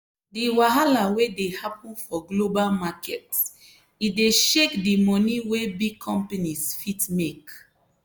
di wahala wey dey happen for global market e dey shake di money wey big companies fit make.